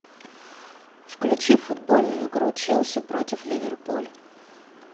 включи футбольную игру челси против ливерпуль